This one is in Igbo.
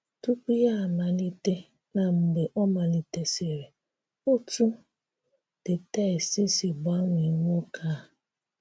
Tùpù Ya Amalite na Mgbe Ọ Malitesịrị — Otú the text Si Gbanwee Nwoke A